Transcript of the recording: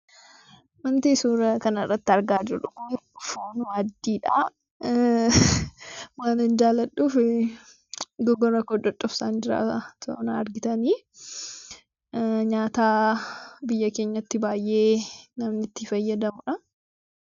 Wanti suuraa kanarratti argaa jirru kun foon waaddiidha. Waanan jaalladhuuf gorora koo coccobsaan jira. Nyaata biyya keenyatti namni itti fayyadamudha.